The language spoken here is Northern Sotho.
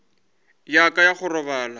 ya ka ya go robala